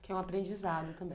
Que é um aprendizado também.